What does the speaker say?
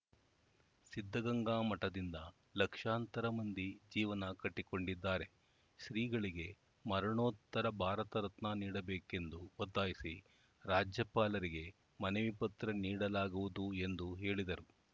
ಸಿದ್ಧಗಂಗಾ ಮಠದಿಂದ ಲಕ್ಷಾಂತರ ಮಂದಿ ಜೀವನ ಕಟ್ಟಿಕೊಂಡಿದ್ದಾರೆ ಶ್ರೀಗಳಿಗೆ ಮರಣೋತ್ತರ ಭಾರತ ರತ್ನ ನೀಡಬೇಕೆಂದು ಒತ್ತಾಯಿಸಿ ರಾಜ್ಯಪಾಲರಿಗೆ ಮನವಿ ಪತ್ರ ನೀಡಲಾಗುವುದು ಎಂದು ಹೇಳಿದರು